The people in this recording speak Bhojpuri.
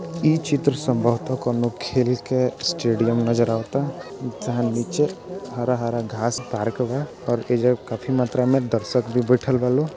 इ चित्र संभवत: कोनो खेल के स्टेडियम नजर आवाता तहन नीचे हरा-हरा घास पार्क बा और एजा काफी मात्रा में दर्शक भी बैठल बा लो --